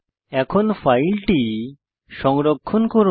এখন ফাইলটি সংরক্ষণ করুন